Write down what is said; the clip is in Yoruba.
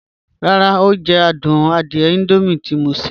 Ràrá, o jẹ̀ àdùn àdìẹ̀ Indomie tí mọ̀ n ṣẹ.